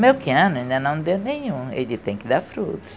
Melquiano ainda não deu nenhum, ele tem que dar frutos.